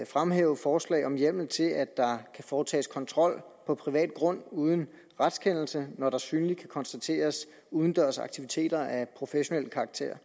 fremhæve forslag om hjemmel til at der kan foretages kontrol på privat grund uden retskendelse når der synligt kan konstateres udendørs aktiviteter af professionel karakter